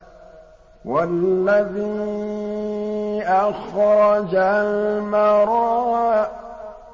وَالَّذِي أَخْرَجَ الْمَرْعَىٰ